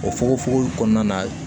O fukonfukon kɔnɔna na